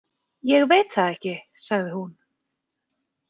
Ég veit það ekki, sagði hún.